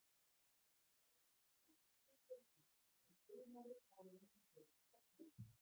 sagði hann hvasst við drenginn en hljóðnaði áður en hann lauk setningunni.